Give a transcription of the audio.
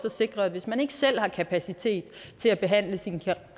at sikre at hvis man ikke selv har kapacitet til at behandle sine